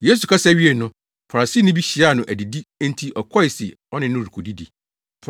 Yesu kasa wiee no, Farisini bi hyiaa no adidi enti ɔkɔe se ɔne no rekodidi.